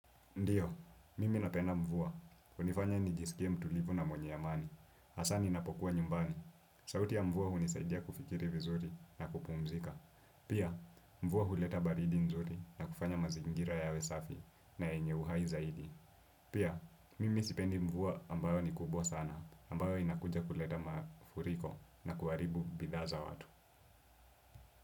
Ndiyo, mimi napenda mvua, hunifanya nijisikia mtulivu na mwenye amani, hasa ninapokuwa nyumbani, sauti ya mvua hunisaidia kufikiri vizuri na kupumzika, pia mvua huleta baridi nzuri na kufanya mazingira yawe safi na yenye uhai zaidi, pia mimi sipendi mvua ambayo ni kubwa sana, ambayo inakuja kuleta mafuriko na kuharibu bidhaa za watu.